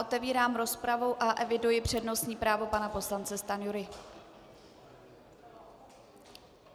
Otevírám rozpravu a eviduji přednostní právo pana poslance Stanjury.